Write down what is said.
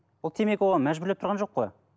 ол темекі оған мәжбүрлеп тұрған жоқ қой